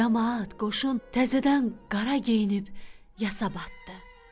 Camaat qoşun təzədən qara geyinib yasa batdı.